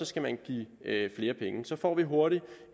skal man give flere penge så får vi hurtigt